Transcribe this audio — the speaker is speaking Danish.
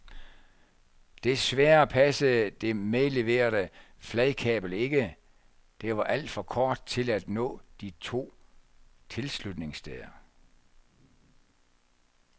Desværre passede det medleverede fladkabel ikke, det var alt for kort til at nå de to tilslutningssteder.